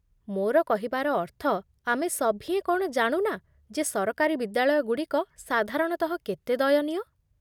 ମୋର କହିବାର ଅର୍ଥ, ଆମେ ସଭିଏଁ କ'ଣ ଜାଣୁ ନା ଯେ ସରକାରୀ ବିଦ୍ୟାଳୟଗୁଡ଼ିକ ସାଧାରଣତଃ କେତେ ଦୟନୀୟ?